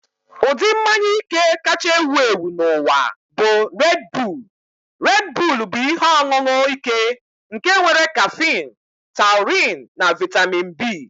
Ụdị mmanya ike kacha ewu ewu n'ụwa bụ Red Bull. Red Bull bụ ihe ọṅụṅụ ike nke nwere kaffine, taurine, na vitami B